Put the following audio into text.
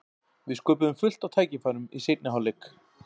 Við sköpuðum fullt af tækifærum í seinni hálfleik.